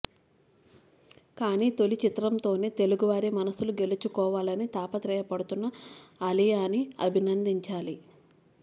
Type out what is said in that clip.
కానీ తొలి చిత్రంతోనే తెలుగువారి మనస్సులు గెలుచుకోవాలని తాపత్రయపడుతున్న ఆలియాని అభినందించాలి